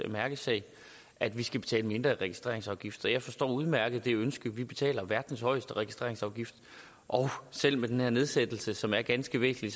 mærkesager at vi skal betale mindre i registreringsafgift og jeg forstår udmærket det ønske vi betaler verdens højeste registreringsafgift og selv med den her nedsættelse som er ganske væsentlig